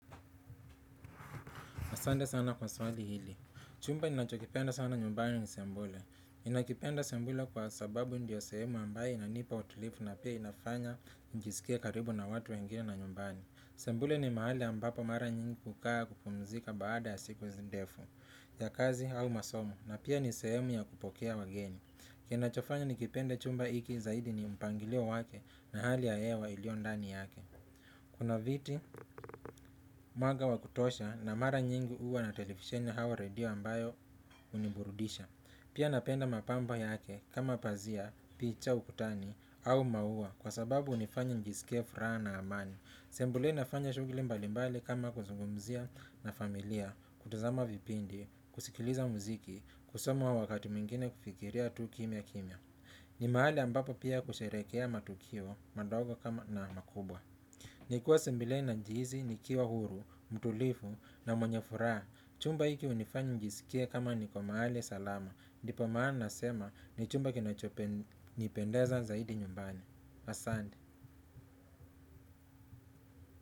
Asante sana kwa swali hili. Chumba ninachokipenda sana nyumbani ni sebule. Ninakipenda sebule kwa sababu ndiyo sehemu ambayo inanipa utulivu na pia inafanya nijisikie karibu na watu wengine na nyumbani. Sebule ni mahali ambapo mara nyingi kukaa kupumzika baada ya siku ndefu ya kazi au masomo na pia ni sehemu ya kupokea wageni. Kinachofanya nikipenda chumba hiki zaidi ni mpangilio wake na hali ya hewa iliyo ndani yake. Kuna viti, mwaga wa kutosha na mara nyingi huwa na televisheni au redio ambayo huniburudisha. Pia napenda mapambo yake kama pazia, picha, ukutani au maua kwa sababu hunifanya nijisikie furaha na amani. Sebule nafanya shughuli mbalimbali kama kuzungumzia na familia, kutazama vipindi, kusikiliza muziki, kusoma wakati mwingine kufikiria tu kimya kimya. Ni mahali ambapo pia kusherehekea matukio madogo kama na makubwa nikiwa sebuleni najihisi nikiwa huru, mtulivu na mwenye furaha. Chumba hiki hunifanya nijisikie kama niko mahali salama. Ndipo maana nasema ni chumba kinachonipendeza zaidi nyumbani. Asante.